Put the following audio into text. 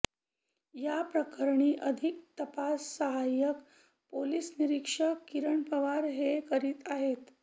या प्रकरणी अधिक तपास साहाय्यक पोलीस निरीक्षक किरण पवार हे करीत आहेत